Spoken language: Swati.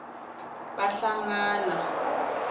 bahlangana